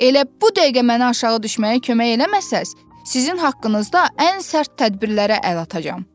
Elə bu dəqiqə mənə aşağı düşməyə kömək eləməsəz, sizin haqqınızda ən sərt tədbirlərə əl atacağam.